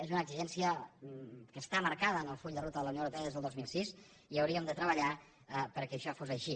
és una exigència que està marcada en el full de ruta de la unió europea des del dos mil sis i hauríem de treballar perquè això fos així